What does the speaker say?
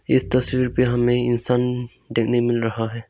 इस तस्वीर पे हमें इंसान में मिल रहा है।